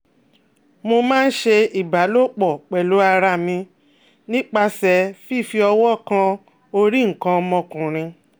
Mo ma n se iba lopo pelu ara mi nipase fifi owo kan ori nkan omokunrin